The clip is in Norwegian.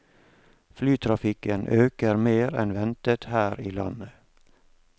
Flytrafikken øker mer enn ventet her i landet.